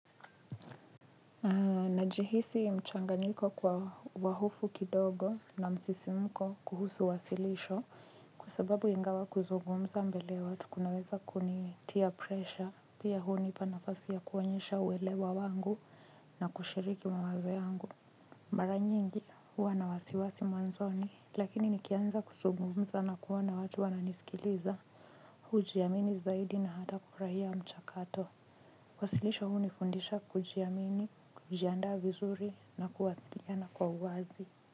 Najihisi mchanganyiko kwa wa hofu kidogo na msisimko kuhusu uwasilisho kwasababu ingawa kuzungumza mbele ya watu kunaweza kunitia presha pia hunipa nafasi ya kuonyesha uelewa wangu na kushiriki mawazo yangu. Mara nyingi huwa na wasiwasi mwanzoni lakini nikianza kuzungumza na kuona watu wana nisikiliza hujiamini zaidi na hata kufurahia mchakato wasilisho hunifundisha kujiamini, kujiandaa vizuri na kuwasiliana kwa uwazi.